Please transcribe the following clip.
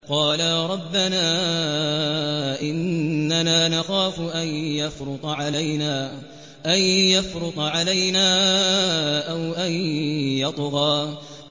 قَالَا رَبَّنَا إِنَّنَا نَخَافُ أَن يَفْرُطَ عَلَيْنَا أَوْ أَن يَطْغَىٰ